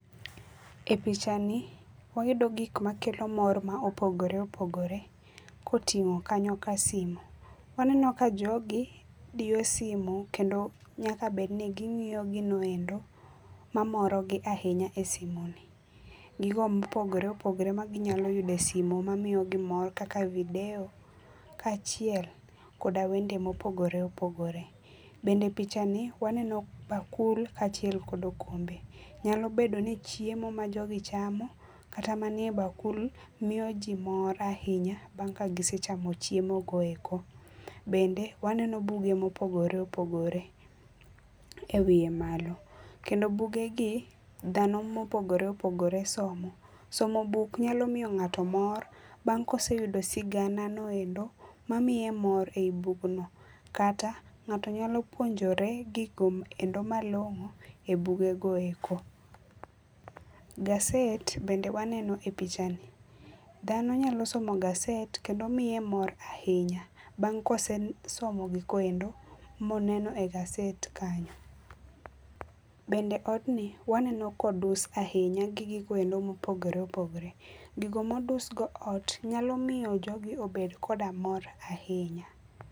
E pichani wayudo gik makelo mor ma opogore opogore kotingo kanyo ka simu. Waneno ka jogi diyo simu kendo nyaka bedni gingiyo gino endo mamorogi ahinya e simu ni. Gigo mopogore opogore maginyalo yudo e simu mamiyogi mor kaka video kachiel koda wende ma opogore opogore. Bende pichani waneno bakul kachiel kod okombe, Nyalo bedo ni chiemo ma jogi chamo kata manie bakul miyo jii mor ahinya bang kagisechamo chiemo go eko. Bende waneno buge ma opogore opogore e wiye malo. Kendo buge gi dhano mopogore opogore somo, somo buk nyalo miyo ngato mor bang koseyudo sigana noendo mamiye mor ei bugno kata ngato nyalo puonjore gigo malongo e buge goeko. Gaset bende waneno e pichani, dhano nyalo somo gaset kendo miye mor ahinya bang ka osesomo gigo endo moneno e gaset kanyo. Bende odni waneno ka odus ahinya gi gigoendo ma opogore opogore. Gigo modus go ot nyalo miyo jogi obed koda mor ahinya